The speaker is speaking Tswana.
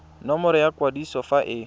nomoro ya kwadiso fa e